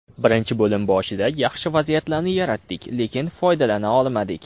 Birinchi bo‘lim boshida yaxshi vaziyatlarni yaratdik, lekin foydalana olmadik.